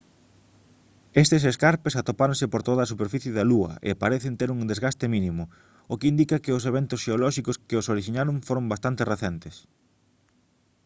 estes escarpes atopáronse por toda a superficie da lúa e parecen ter un desgaste mínimo o que indica que os eventos xeolóxicos que os orixinaron foron bastante recentes